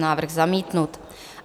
Návrh zamítnut.